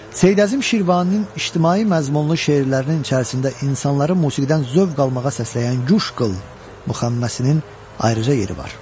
Seyid Əzim Şirvaninin ictimai məzmunlu şeirlərinin içərisində insanları musiqidən zövq almağa səsləyən Guş qıl müxəmməsinin ayrıca yeri var.